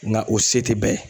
Nga o se te bɛɛ ye.